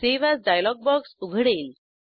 save as dialog box उघडेल